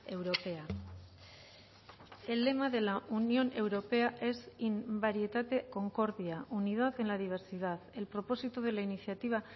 europea el lema de la unión europea es in varietate concordia unidad en la diversidad el propósito de la iniciativa